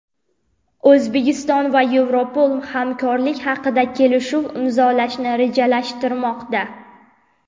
O‘zbekiston va Yevropol hamkorlik haqida kelishuv imzolashni rejalashtirmoqda.